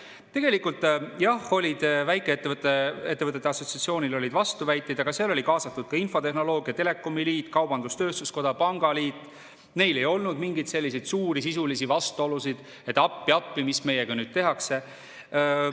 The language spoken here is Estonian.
Tegelikult, jah, oli väikeettevõtjate assotsiatsioonil vastuväiteid, aga seal oli kaasatud ka infotehnoloogia ja telekomi liit, kaubandus-tööstuskoda, pangaliit, neil ei olnud mingeid selliseid suuri sisulisi vastuolusid, et appi-appi, mis meiega nüüd tehakse.